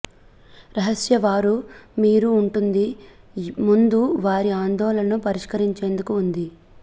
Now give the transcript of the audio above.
రహస్య వారు మీరు ఉంటుంది ముందు వారి ఆందోళనను పరిష్కరించేందుకు ఉంది